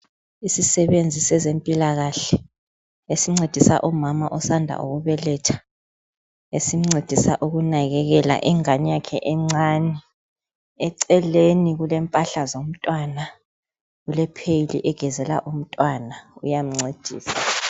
isisebenzi sezempilakahle esincedisa umama osanda ukubeletha esimcedisa ukunakekela ingani yakhe encani eceleni kulempahla zomntwana lule pheyili egezela umntwana uyamncedisa